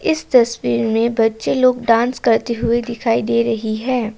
इस तस्वीर में बच्चे लोग डांस करते हुए दिखाई दे रही हैं।